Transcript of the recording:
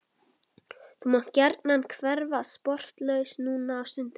Þú mátt gjarnan hverfa sporlaust núna á stundinni.